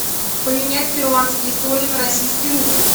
поменять перуанские соли на российский рубль